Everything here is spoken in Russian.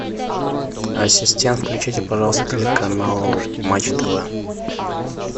ассистент включи пожалуйста телеканал матч тв